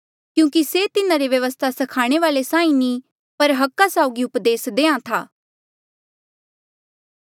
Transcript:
क्यूंकि से तिन्हारे व्यवस्था स्खाणे वाल्ऐ साहीं नी पर अधिकारा साउगी उपदेस देहां था